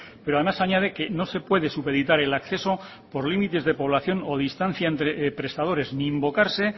pero además añade que no se puede supeditar el acceso por límites de población o distancia entre prestadores ni invocarse